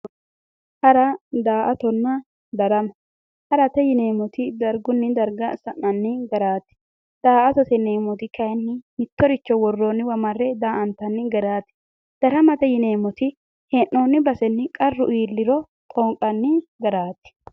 Hara daa"atonna darama, harate yineemmoti dargunni darga ha'nanni garaati daa"attote yineemmoti kaayiinni worroonniwa mare daantanni yaate daramate yineeemmoti hee'noonni basenni qarru iilliro xoonqanni garaati.